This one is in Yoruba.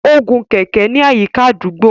O gun kẹkẹ ní àyíká àdúgbò.